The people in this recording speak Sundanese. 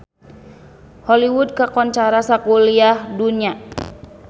Hollywood kakoncara sakuliah dunya